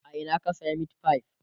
a Ina ka saya meatfie?